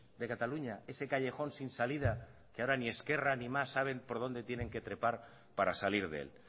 de cataluña ese callejón sin salida que ahora ni esquerra ni mas saben por dónde tienen que trepar para salir de él